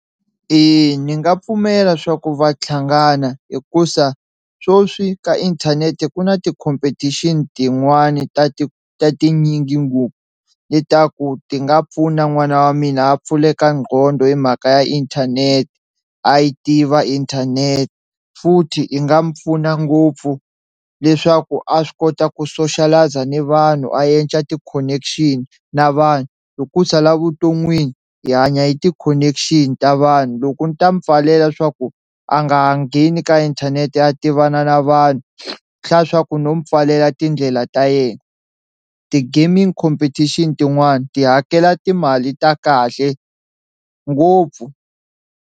Eya ni nga pfumela swa ku va tlhangana hikuza swoswi ka inthanete ku na ti-competition tin'wani ta ti ta tinyingi ngopfu le ta ku ti nga pfuna n'wana wa mina a pfuleka nqondo hi mhaka ya inthanete a yi tiva inthanete futhi i nga mu pfuna ngopfu leswaku a swi kota ku socialise ni vanhu a endla ti-connection na vanhu, hi ku sala vuton'wini hi hanya hi ti-connection ta vanhu loko ndzi ta mi pfalela swa ku a nga ha ngheni ka inthanete a tivana na vanhu, swi hlaya swaku no mu pfalela tindlela ta yena ti-gaming competition tin'wani ti hakela timali ta kahle ngopfu.